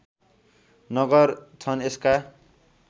नगर छन् यसका